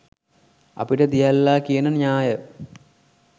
අපිට දියල්ලා කියන න්‍යාය